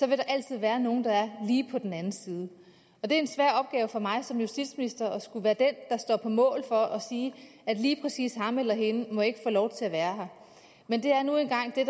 der altid være nogle der er lige på den anden side og det er en svær opgave for mig som justitsminister at skulle være den der står på mål for at sige at lige præcis ham eller hende må ikke få lov til at være her men det er nu engang det